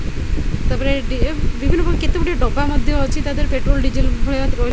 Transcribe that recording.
ତାପରେ ଏ ଡିଏ ବିଭିନ୍ନ ପ୍ରକାର କେତେ ଗୁଡ଼ିଏ ଡବା ମଧ୍ୟ ଅଛି ତା ଦିହରେ ପେଟ୍ରୋଲ ଡ଼ିଜେଲ୍ ଭଳିଆ ବି ରୁହେ।